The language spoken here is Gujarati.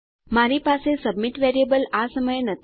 મારી પાસે સબમિટ વેરીએબલ આ સમયે નથી